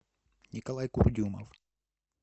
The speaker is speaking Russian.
николай курдюмов